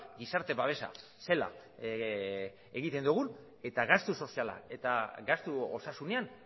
gizarte babesa zela egiten dugun eta gastu soziala eta gastu osasunean